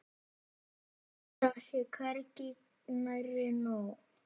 Það sé hvergi nærri nóg.